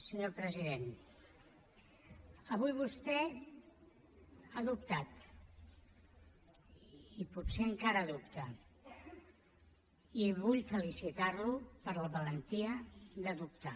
senyor president avui vostè ha dubtat i potser encara dubta i vull felicitar lo per la valentia de dubtar